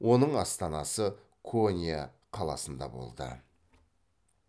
оның астанасы конья қаласында болды